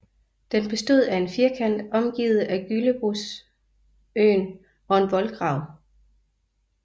Den bestod af en firkant omgivet af Gyllebosjøen og en voldgrav